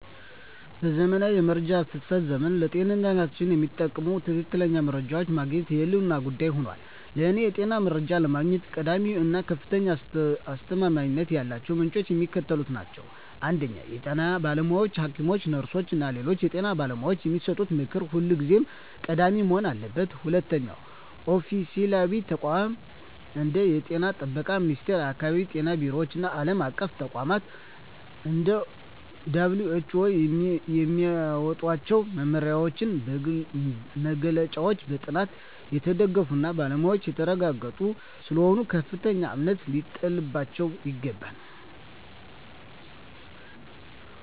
በዘመናዊው የመረጃ ፍሰት ዘመን፣ ለጤንነታችን የሚጠቅሙ ትክክለኛ መረጃዎችን ማግኘት የህልውና ጉዳይ ሆኗል። ለእኔ የጤና መረጃ ለማግኘት ቀዳሚ እና ከፍተኛ አስተማማኝነት ያላቸው ምንጮች የሚከተሉት ናቸው 1) የጤና ባለሙያዎች: ሐኪሞች፣ ነርሶች እና ሌሎች የጤና ባለሙያዎች የሚሰጡት ምክር ሁልጊዜም ቀዳሚ መሆን አለበት። 2)ኦፊሴላዊ ተቋማት: እንደ የጤና ጥበቃ ሚኒስቴር፣ የአካባቢ ጤና ቢሮዎች እና ዓለም አቀፍ ተቋማት (እንደ WHO) የሚያወጧቸው መመሪያዎችና መግለጫዎች በጥናት የተደገፉና በባለሙያዎች የተረጋገጡ ስለሆኑ ከፍተኛ እምነት ሊጣልባቸው ይገባል።